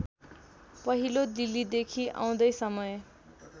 पहिला दिल्लीदेखि आउँदै समय